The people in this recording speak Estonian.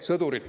Aitäh!